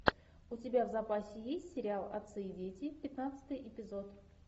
у тебя в запасе есть сериал отцы и дети пятнадцатый эпизод